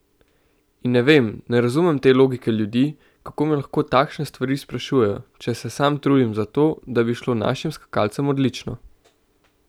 In ne vem, ne razumem te logike ljudi, kako me lahko takšne stvari sprašujejo, če se sam trudim za to, da bi šlo našim skakalcem odlično!